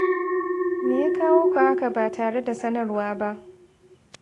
Me ya kawo ku haka ba tare da sanarwa ba?